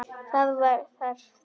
Það var þarft.